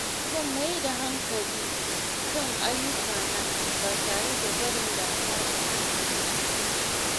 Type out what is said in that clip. Zan mai da hankali kan ayyukana ba tare da barin damuwa ta hana ni sukuni ba.